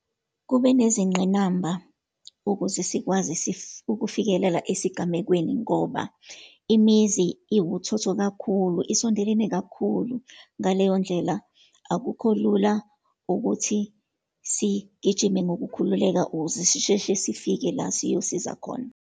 Kube nezingqinamba ukuze sikwazi ukufikelela esigamekweni, ngoba imizi iwuthotho kakhulu, isondelene kakhulu. Ngaleyondlela, akukho lula ukuthi sigijime ngokukhululeka, ukuze sisheshe sifike la siyosiza khona.